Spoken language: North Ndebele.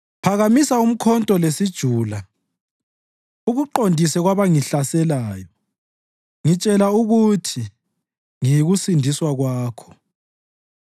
Phakamisa umkhonto lesijula, ukuqondise kwabangihlaselayo. Ngitshela ukuthi, “Ngiyikusindiswa kwakho.”